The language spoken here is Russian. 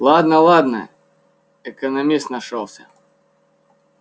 ладно ладно экономист нашёлся